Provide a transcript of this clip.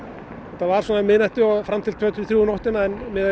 þetta var um miðnætti og fram til tvö þrjú um nóttina en